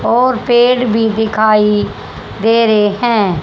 और पेड़ भी दिखाई दे रहे हैं।